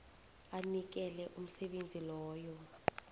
anikele umsebenzi loyo